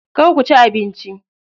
Kar ku ci abinci.